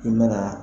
I mana